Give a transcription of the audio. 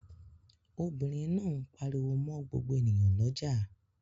Obìnrin náà ń pariwo mọ́ gbogbo ènìyàn lọ́jà.